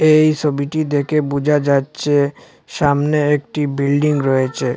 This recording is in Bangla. ভএই সবিটি দেখে বোঝা যাচ্ছে সামনে একটি বিল্ডিং রয়েছে।